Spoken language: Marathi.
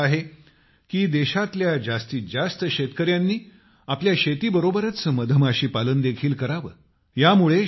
माझी इच्छा आहे की देशातील जास्तीत जास्त शेतकऱ्यांनी आपल्या शेतीबरोबरच मधमाशी पालन देखील करावे